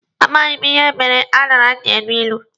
A maghị m ihe mere aṅara ji elu ilu.